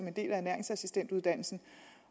en del af ernæringsassistentuddannelsen